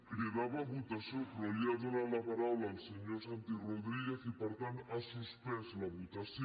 cridava a votació però li ha donat la paraula al senyor santi rodríguez i per tant ha suspès la votació